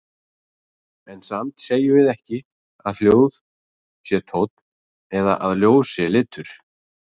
En samt segjum við ekki að hljóð sé tónn eða að ljós sé litur.